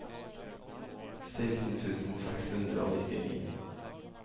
seksten tusen seks hundre og nittini